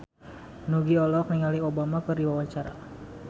Nugie olohok ningali Obama keur diwawancara